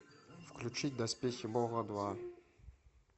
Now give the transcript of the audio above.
включить доспехи бога два